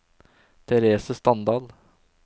Therese Standal